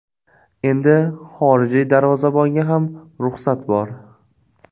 Endi xorijiy darvozabonga ham ruxsat bor.